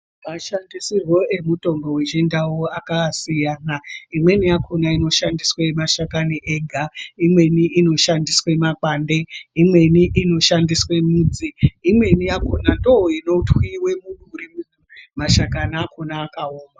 Mashandisirwo mitombo wechi ndau aka siyana imweni yakona ino shandiswe mashakani ega imweni ino shandiswe makwandi imweni ino shandiswe makwande imweni ino shandiswe mudzi imweni yakona ndoo ino twiwa muduri mashakani acho akaoma.